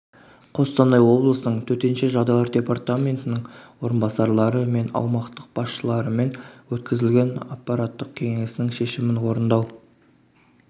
қостанай облысының төтенше жағдайлар департаментінің орынбасарлары мен аумақтық басшыларымен өткізілген аппараттық кеңесінің шешімін орындау